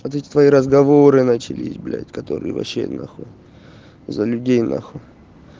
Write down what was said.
вот эти твои разговоры начались блять которые вообще на хуй за людей на хуй